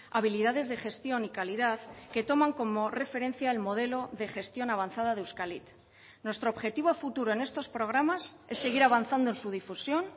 habilidades de gestión y calidad que toman como referencia el modelo de gestión avanzada de euskalit nuestro objetivo a futuro en estos programas es seguir avanzando en su difusión